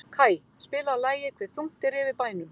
Kaj, spilaðu lagið „Hve þungt er yfir bænum“.